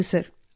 ಹೌದು ಸರ್